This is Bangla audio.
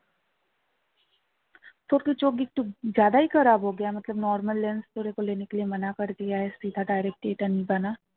তোর কি চোখ একটু normal lens direct এটা নেবে না